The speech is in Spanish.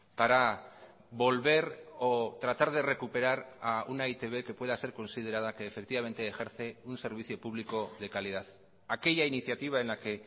para volver o tratar de recuperar a una e i te be que pueda ser considerada que efectivamente ejerce un servicio público de calidad aquella iniciativa en la que